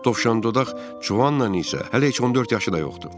Tovşandodaq Çuanın isə hələ heç 14 yaşı da yoxdur.